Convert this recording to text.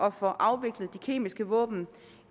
at få afviklet de kemiske våben